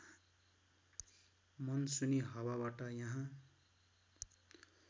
मनसुनी हावाबाट यहाँ